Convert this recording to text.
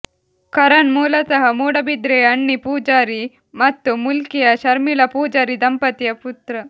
ಕರಣ್ ಮೂಲತಃ ಮೂಡಬಿದ್ರೆಯ ಅಣ್ಣಿ ಪೂಜಾರಿ ಮತ್ತು ಮೂಲ್ಕಿಯ ಶರ್ಮಿಳಾ ಪೂಜಾರಿ ದಂಪತಿಯ ಪುತ್ರ